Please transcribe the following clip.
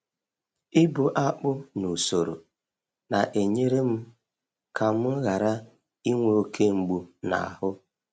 Ịbu akpụ n’usoro na-enyere m ka m ghara inwe oke mgbu n’ahụ.